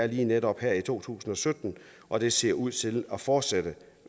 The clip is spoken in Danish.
lige netop her i to tusind og sytten og det ser ud til at fortsætte